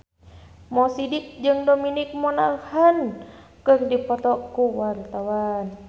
Mo Sidik jeung Dominic Monaghan keur dipoto ku wartawan